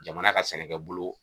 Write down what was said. Jamana ka sɛnɛkɛbolo